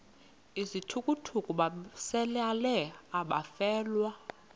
izithukuthuku besalela abafelwa